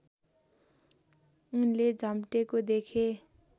उनले झम्टेको देखे